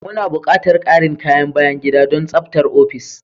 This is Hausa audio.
Muna buƙatar ƙarin kayan bayan gida don tsabtar ofis.